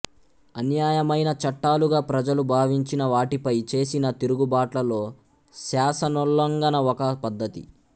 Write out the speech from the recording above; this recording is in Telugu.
అన్యాయమైన చట్టాలుగా ప్రజలు భావించినవాటిపై చేసిన తిరుగుబాట్లలో శాసనోల్లంఘన ఒక పద్ధతి